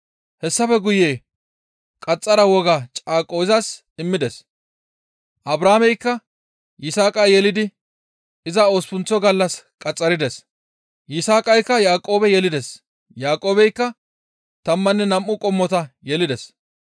Hessafe guye qaxxara woga caaqo izas immides; Abrahaameykka Yisaaqa yelidi iza osppunththa gallas qaxxarides; Yisaaqaykka Yaaqoobe yelides; Yaaqoobeykka tammanne nam7u qommota yelides.